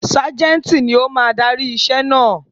Ságẹ́ńtì ni ó máa darí iṣẹ́ naa.